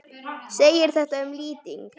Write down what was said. segir þetta um lýting